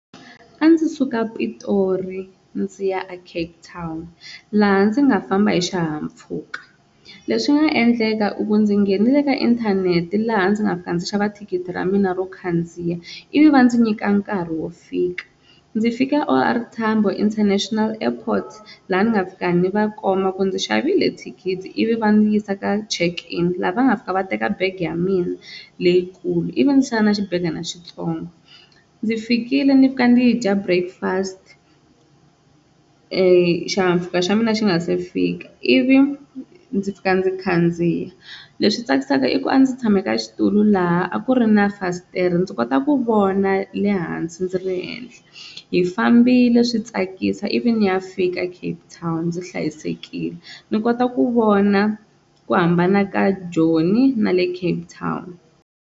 A ndzi suka Pitori ndzi ya a Cape Town laha ndzi nga famba hi xihahampfhuka leswi nga endleka i ku ndzi nghenele ka inthanete laha ndzi nga fika ndzi xava thikithi ra mina ro khandziya ivi va ndzi nyika nkarhi wo fika, ndzi fike O_R Tambo International Airport laha ni nga fika ni va komba ku ndzi xavele thikithi ivi va n'wi yisa ka check in, laha va nga fika va teka bege ya mina leyikulu ivi va ndzi siya na xibegana xitsongo ndzi fikile ndzi fika ndzi dya breakfast xihahampfhuka xa mina xi nga se fika, ivi ndzi fika ndzi khandziya leswi tsakisaka i ku a ndzi tshame ka xitulu laha a ku ri na fasitere ndzi kota ku vona le hansi ndzi ri henhla hi fambile swi tsakisa ivi ni ya fika Cape Town ndzi hlayisekile ni kota ku vona ku hambana ka Joni na le Cape Town.